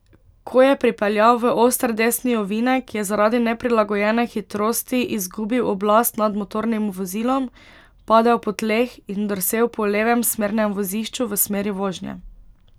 Ko je pripeljal v oster desni ovinek, je zaradi neprilagojene hitrosti izgubil oblast nad motornim vozilom, padel po tleh in drsel po levem smernem vozišču v smeri vožnje.